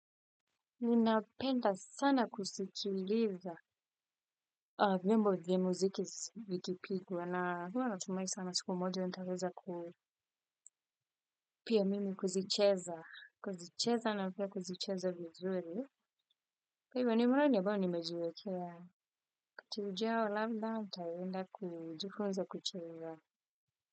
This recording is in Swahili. Ninapenda sana kusikiliza. Wimbo vya muziki vikipigea na huwa natumai sana siku moja nitaweza ku pia mimi kuzicheza. Kuzicheza na pia kuzicheza vizuri. Kwa hivyo nimeona ya bao nimeziwekea wakati ujao labda ntaenda kujifunza kucheza.